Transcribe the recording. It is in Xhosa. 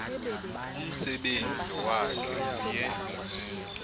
umsebenzi wakhe uye